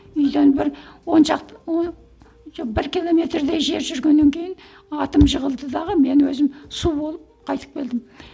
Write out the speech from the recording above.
үйден бір он шақты жоқ бір километрдей жер жүргеннен кейін атым жығылды дағы мен өзім су болып қайтып келдім